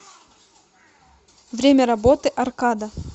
время работы аркада